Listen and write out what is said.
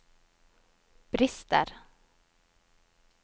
brister